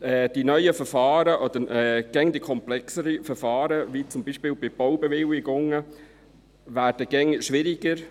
die immer komplexeren Verfahren, beispielsweise bei Baubewilligungen, werden immer schwieriger;